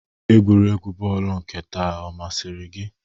Egwuregwu bọọlụ nke taa ọ masịrị gị?